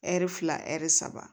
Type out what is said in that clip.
Ɛri fila ɛri saba